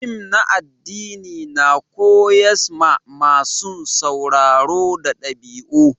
Fim na addini na koyars ma masun sauraro da dabi'u.